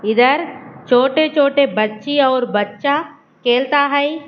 इधर छोटे छोटे बच्ची और बच्चा खेलता है।